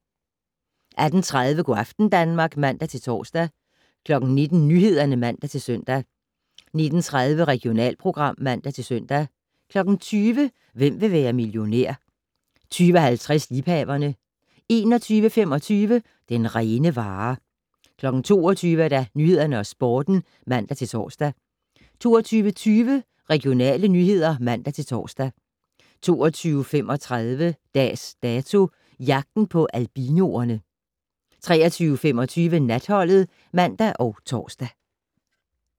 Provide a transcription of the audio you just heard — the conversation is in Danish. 18:30: Go' aften Danmark (man-tor) 19:00: Nyhederne (man-søn) 19:30: Regionalprogram (man-søn) 20:00: Hvem vil være millionær? 20:50: Liebhaverne 21:25: Den rene vare 22:00: Nyhederne og Sporten (man-tor) 22:20: Regionale nyheder (man-tor) 22:35: Dags Dato: Jagten på albinoerne 23:25: Natholdet (man og tor)